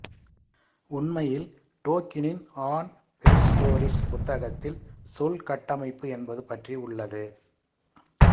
உண்மையில் டோக்கினின் on fairy stories புத்தகத்தில் சொல் கட்டமைப்பு என்பது பற்றி உள்ளது